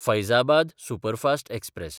Faizabad superfast express